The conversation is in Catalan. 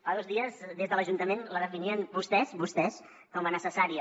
fa dos dies des de l’ajuntament la definien vostès vostès com a necessària